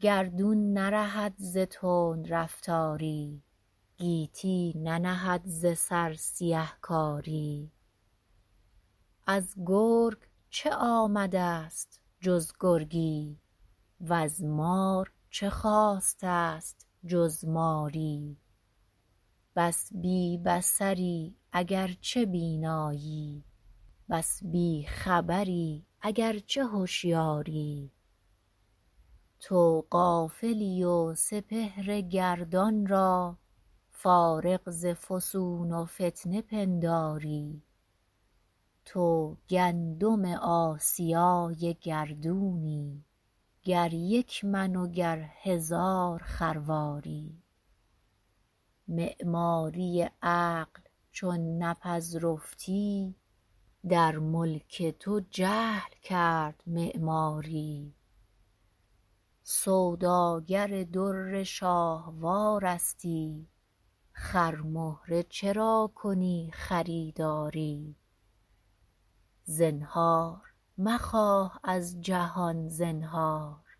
گردون نرهد ز تندرفتاری گیتی ننهد ز سر سیه کاری از گرگ چه آمدست جز گرگی وز مار چه خاستست جز ماری بس بی بصری اگرچه بینایی بس بی خبری اگرچه هشیاری تو غافلی و سپهر گردان را فارغ ز فسون و فتنه پنداری تو گندم آسیای گردونی گر یک من و گر هزار خرواری معماری عقل چون نپذرفتی در ملک تو جهل کرد معماری سوداگر در شاهوارستی خرمهره چرا کنی خریداری زنهار مخواه از جهان زنهار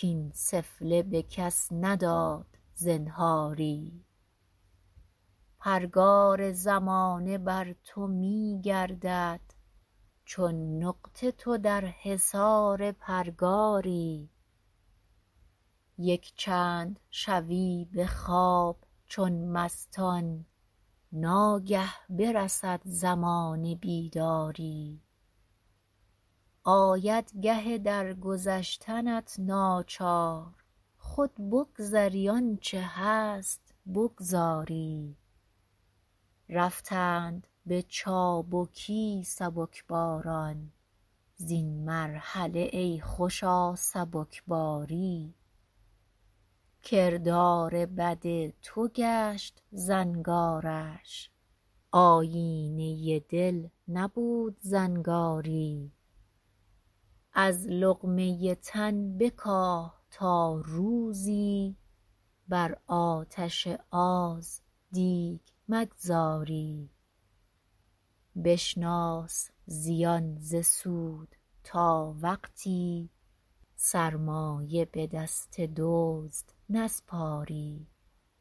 کاین سفله به کس نداد زنهاری پرگار زمانه بر تو میگردد چون نقطه تو در حصار پرگاری یک چند شوی به خواب چون مستان ناگه برسد زمان بیداری آید گه درگذشتنت ناچار خود بگذری آنچه هست بگذاری رفتند به چابکی سبک باران_ زین مرحله ای خوشا سبکباری کردار بد تو گشت زنگارش آیینه دل نبود زنگاری از لقمه تن بکاه تا روزی بر آتش آز دیگ مگذاری بشناس زیان ز سود تا وقتی سرمایه به دست دزد نسپاری